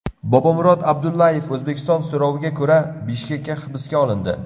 Bobomurod Abdullayev O‘zbekiston so‘roviga ko‘ra Bishkekda hibsga olindi.